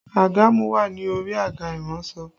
Àgàmú wà ní orí àga iransọ